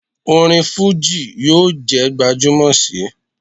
Orin fuji yoo je gbajumo si